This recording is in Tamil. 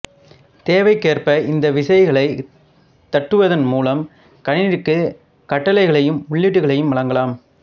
தேவைக்கேற்ப இந்த விசைகளை தட்டுவதன் மூலம் கணினிக்கு கட்டளைகளையும் உள்ளீடுகளையும் வழங்கலாம்